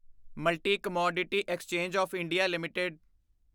multi commodity exchange of India LTD